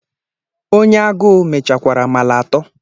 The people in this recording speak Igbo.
Onye aguu mechakwara amala ato.